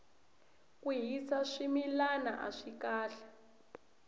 ku hisa swimilana aswi kahle